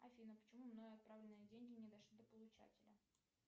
афина почему мной отправленные деньги не дошли до получателя